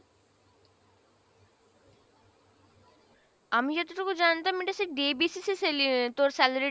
আমি যতটুকু জানতাম এটা সেই day basis এ sali~ আহ তোর salary